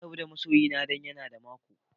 Na rabu da ma'soyina dan ya na da mako.